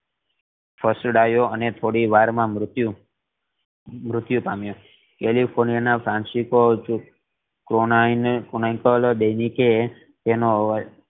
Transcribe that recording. ફસડાયો અને થોડી વાર માં મ્ર્ત્યુ મ્ર્ત્યુ પામ્યો કેલિફોર્નિયા ના ફ્રાન્સિસકો કોનિકલ એ એનો